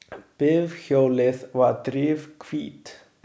Bifhjólið var drifhvítt.